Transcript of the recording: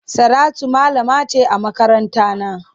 Saratu malama ce a makarantana.